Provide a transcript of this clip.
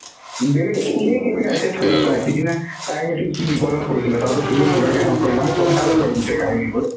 বেলেগক তুমিয়ে কি কেতিয়া এতিয়া থ চোৱা সিদিনা তাই সেইটো কি বিপদত পৰিছিলে তাৰপিছত তুমি লগে লগে help কৰিলা অ মই গম পালো বাৰু গোটেই কাহিনীতো